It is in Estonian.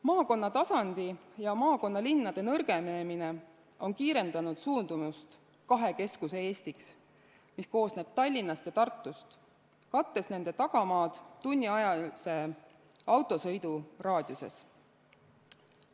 Maakonnatasandi ja maakonnalinnade nõrgenemine on kiirendanud suundumust kahe keskuse Eestiks, mis koosneb Tallinnast ja Tartust, kattes nende tagamaad tunniajase autosõidu raadiuses.